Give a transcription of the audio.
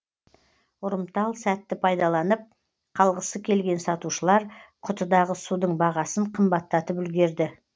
ұрымтал сәтті пайдаланып қалғысы келген сатушылар құтыдағы судың бағасын қымбаттатып үлгерді